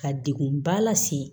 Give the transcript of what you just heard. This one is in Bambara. Ka degun ba lase